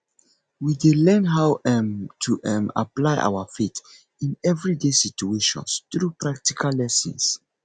we dey learn how um to um apply our faith in everyday situations through practical lessons